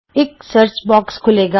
ਇਕ ਸਰਚਬੌਕਸ ਖੁੱਲੇਗਾ